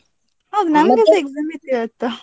ನನ್ಗೆಸ exam ಇತ್ತು ಇವತ್ತು.